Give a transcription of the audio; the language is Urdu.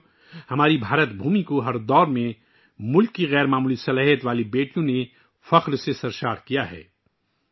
دوستو، ہماری سرزمین ہند کو ہر عہد میں ملک کی بے مثال بیٹیوں نے فخر سے بھر دیا ہے